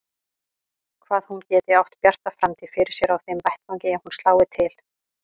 Hvað hún geti átt bjarta framtíð fyrir sér á þeim vettvangi ef hún slái til.